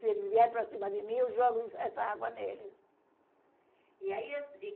Se eles vierem para cima de mim, eu jogo isso essa água neles. E aí